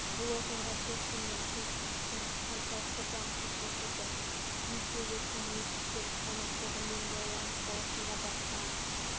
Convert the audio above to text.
бұл оқиға джексон мен хулс үшін қаншалықты жағымсыз болса да екеуі сонымен шектеліп қалмай қоғаммен байланыс саласында басқа